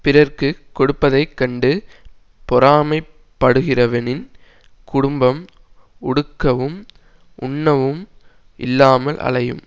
பிறர்க்கு கொடுப்பதை கண்டு பொறாமை படுகிறவனின் குடும்பம் உடுக்கவும் உண்ணவும் இல்லாமல் அலையும்